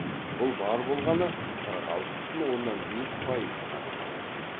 бұл бар болғаны қырық алты бүтін оннан бес пайызды ғана құрайды